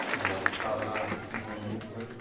a gente estava na num momento... Oi